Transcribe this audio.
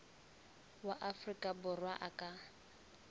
wa afrika borwa a ka